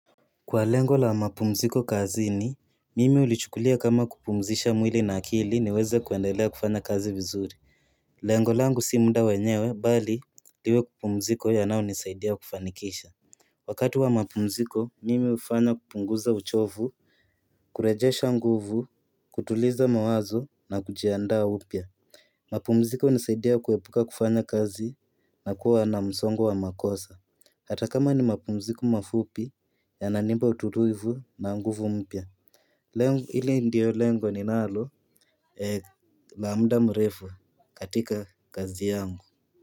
Kwa lengo la mapumziko kazini, mimi hulichukulia kama kupumzisha mwili na akili niweze kuendelea kufanya kazi vizuri Lengo langu si munda wanyewe, bali liwe pumziko yanao nisaidia kufanikisha Wakati wa mapumziko, mimi hufanya kupunguza uchovu, kurejesha nguvu, kutuliza mawazo na kujiandaa upya mapumziko hunisaidia kuwepuka kufanya kazi na kuwa na msongo wa makosa Hata kama ni mapumziko mafupi yananipa ututuivu na nguvu mpya Lengo hili ndio lengo ninalo la muda mrefu katika kazi yangu.